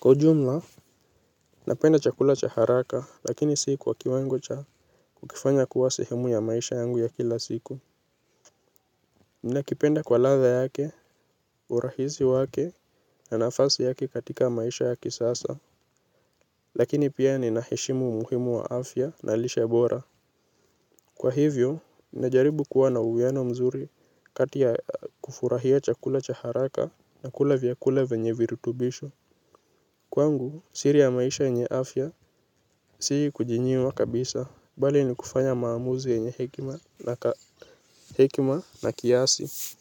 Kwa ujumla, napenda chakula cha haraka lakini si kwa kiwango cha ukifanya kuwa sehemu ya maisha yangu ya kila siku. Minakipenda kwa latha yake, urahisi wake, na nafasi yake katika maisha ya kisasa. Lakini pia ni naheshimu umuhimu wa afya na lishe bora. Kwa hivyo, minajaribu kuwa na uwiano mzuri kati ya kufurahia chakula chaharaka na kula vyakula venye virutubisho. Kwangu, siri ya maisha enye afya sii kujinyima kabisa bali ni kufanya maamuzi yenye hekima na kiasi.